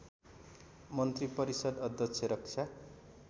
मन्त्रिपरिषद् अध्यक्ष रक्षा